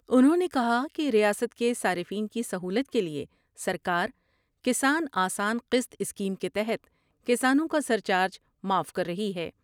انھوں نے کہا کہ ریاست کے صارفین کی سہولت کے لئے سرکار کسان آسان قسط اسکیم کے تحت کسانوں کا سر چارج معاف کر رہی ہے ۔